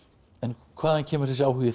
en hvaðan kemur þessi áhugi þinn